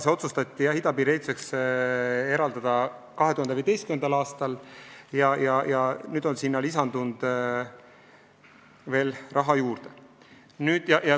See otsustati idapiiri ehituseks eraldada 2015. aastal ja nüüd on sinna veel raha juurde lisatud.